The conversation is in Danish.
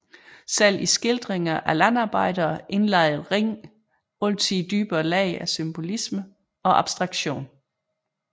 Selv i skildringer af landarbejdere indlejrede Ring altid dybere lag af symbolisme og abstraktion